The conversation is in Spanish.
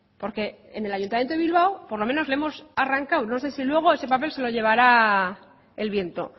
porque en el ayuntamiento de bilbao por lo menos le hemos arrancado no sé si luego ese papel se lo llevará el viento